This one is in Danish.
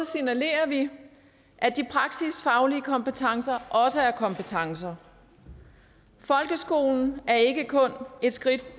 signalerer vi at de praksisfaglige kompetencer også er kompetencer folkeskolen er ikke kun et skridt